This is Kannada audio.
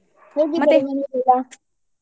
ಮನೆಲಿ ಎಲ್ಲಾ?